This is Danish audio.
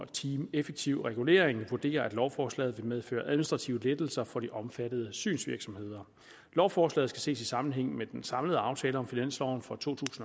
team effektiv regulering vurderer at lovforslaget vil medføre administrative lettelser for de omfattede synsvirksomheder lovforslaget skal ses i sammenhæng med den samlede aftale om finansloven for to